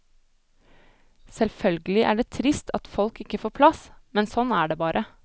Selvfølgelig er det trist at folk ikke får plass, men sånn er det bare.